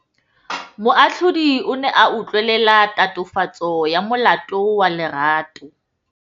Moatlhodi o ne a utlwelela tatofatsô ya molato wa Lerato.